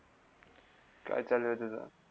काय चालू आहे तुझ?